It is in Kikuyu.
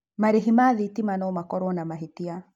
Marĩhi ma thitima no makorwo na mahĩtia.